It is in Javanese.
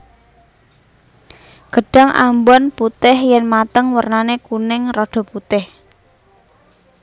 Gedhang ambon putih yen mateng wernane kuning rada putih